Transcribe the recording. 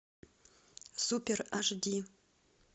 супер аш ди